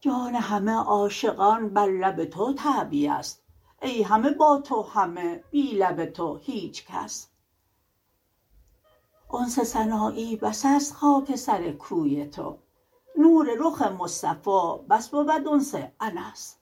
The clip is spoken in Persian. جان همه عاشقان بر لب تو تعبیه ست ای همه با تو همه بی لب تو هیچ کس انس سنایی بس است خاک سر کوی تو نور رخ مصطفا بس بود انس انس